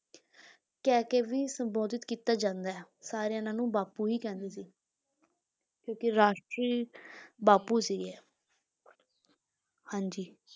ਕਹਿ ਕੇ ਵੀ ਸੰਬੋਧਿਤ ਕੀਤਾ ਜਾਂਦਾ ਹੈ, ਸਾਰੇ ਇਹਨਾਂ ਨੂੰ ਬਾਪੂ ਹੀ ਕਹਿੰਦੇ ਸੀ ਕਿਉਂਕਿ ਰਾਸ਼ਟਰੀ ਬਾਪੂ ਸੀਗੇ ਇਹ ਹਾਂਜੀ